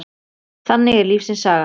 Þannig er lífsins saga.